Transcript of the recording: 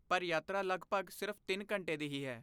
ਪਰ, ਯਾਤਰਾ ਲੱਗਭਗ ਸਿਰਫ਼ ਤਿੰਨ ਘੰਟੇ ਦੀ ਹੀ ਹੈ